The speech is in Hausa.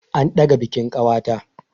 An ɗaga bikin ƙawata.